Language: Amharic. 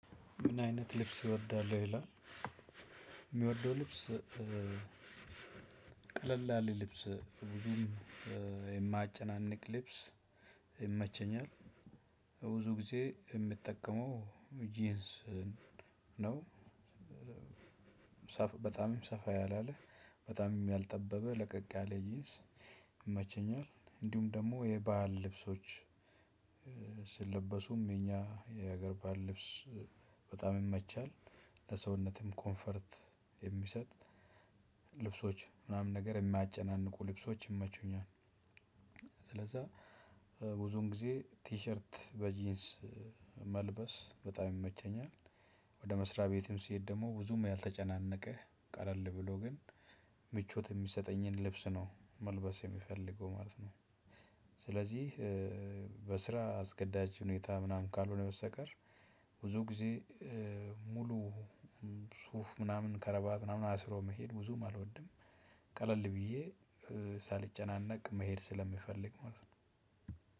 ምን አይነት ልብስ ይወዳሉ ይላል? የምወደው ልብስ ቀለል ያለ ልብስ የማያጨናንቅ ልብስ ይመቸኛል ብዙ ጊዜ የሚጠቀመው ጂንስ ነው። በጣምም ሰፋ ያላለ በጣምም ያልጠበበ ለቀቅ ያለ ጂንስ ይመቸኛል። እንዲሁም ደግሞ የባህል ልብሶች ስለበሱም የኛ የሀገር ባህል ልብስ በጣም የመቻል ለሰውነትም ኮንፈርት የሚሰጥ ልብሶች ምናምን ነገር የማያጨናንቁ ልብሶች ይመቹኛል። ስለዛ ብዙን ጊዜ ቲሸርት በጂንስ መልበስ በጣም ይመቸኛል። ወደ መስሪያ ቤትም ስሄድ ደግሞ ብዙም ያልተጨናነቀ ቀለል ብሎ ግን ምቾት የሚሰጠኝን ልብስ ነው መልበስ የሚፈልገው ማለት ነው። ስለዚህ በስራ አስገዳጅ ሁኔታ ምናምን ካልሆነ በስተቀር ብዙ ጊዜ ሙሉ ሱፍ ምናምን ከረባት ምናምን አስሮ መሄድ ብዙም አልወድም። ቀለል ብዬ ሳልጨናነቅ መሄድ ስለምፈልግ ይሆናል።